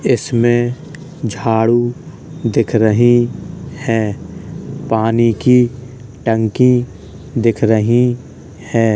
इसमें झाड़ू दिख रही है पानी की टंकी दिख रही है।